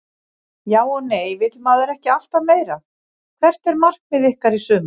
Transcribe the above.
Já og nei vill maður ekki alltaf meira Hvert er markmið ykkar í sumar?